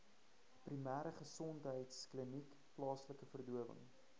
primêregesondheidkliniek plaaslike verdowing